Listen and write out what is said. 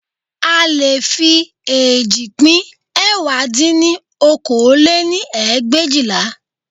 A leè fi eéjì pín ẹ̀wá dín ní okòó lé-ní ẹgbẹ̀éjìlá